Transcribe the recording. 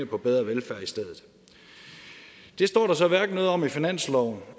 på bedre velfærd i stedet det står der så hverken noget om i finansloven